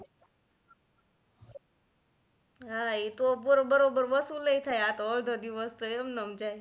હા તો પૂરો બરોબર વસુલ એ થાય આ તો અડધો દિવસ તો એમ ને એમ જાય.